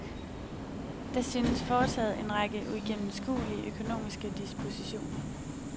Der synes foretaget en række uigennemskuelige økonomiske dispositioner.